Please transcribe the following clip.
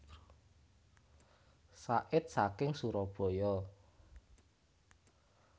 Said saking Surabaya